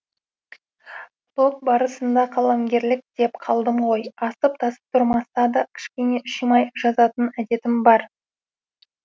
блог барысында қаламгерлік деп қалдым ғой асып тасып тұрмаса да кішкене шимай жазатын әдетім бар